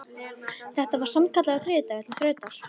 Þetta var sannkallaður þriðjudagur til þrautar.